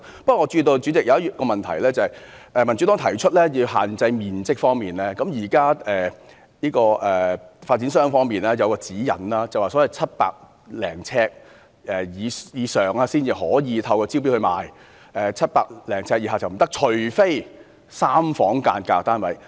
不過，主席，我注意到一項問題，就是民主黨提出要就面積作出限制，現在發展商方面有一項指引，即700呎以上的單位才可以透過招標方式發售 ，700 呎以下就不可以，除非是3房間格單位。